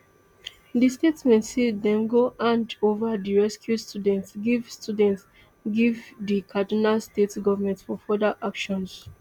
di statement say dem go hand ova di rescued students give students give di kaduna state government for further action